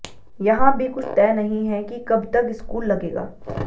यहां भी कुछ तय नहीं है कि कब तक स्कूल लगेगा